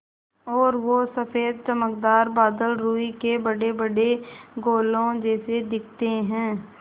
और वो सफ़ेद चमकदार बादल रूई के बड़ेबड़े गोलों जैसे दिखते हैं